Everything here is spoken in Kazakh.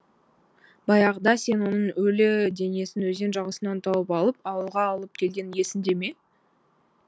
баяғыда сен оның өлі денесін өзен жағасынан тауып алып ауылға алып келгенің есіңде ме